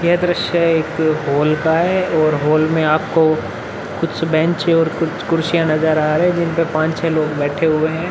यह द्र्स्य एक हॉल का है और हॉल में आपको कुछ बेंच और कुछ कुर्सियां नजर आ रहे हैं। जिनपे पांच छे लोग बैठे हुए हैं।